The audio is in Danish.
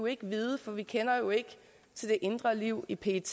ikke vide for vi kender jo ikke til det indre liv i pet